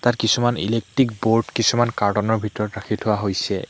তাত কিছুমান electric board কিছুমান কাৰ্টুন ৰ ভিতৰত ৰাখি থোৱা হৈছে।